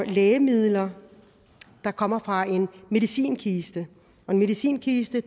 lægemidler der kommer fra en medicinkiste en medicinkiste